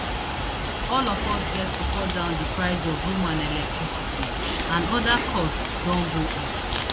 all of us get to cut down di price of room and electricity and oda costs don go up